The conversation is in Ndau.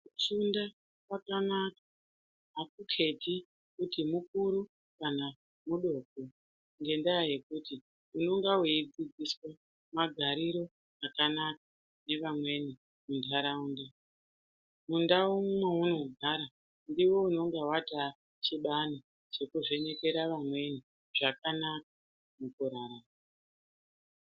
Kufunda kwakanaka aku keti kuti mukuru kana mudoko ngenda yekuti unonga weyi dzidziswe magariro akanaka nge vamweni mu ndaraunda mundau mwauno gara ndiwe unonga wata chibani cheku vhenekera vamweni zvakanaka muku rarama.